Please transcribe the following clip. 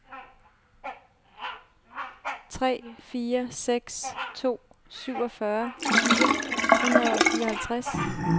tre fire seks to syvogfyrre fire hundrede og fireoghalvtreds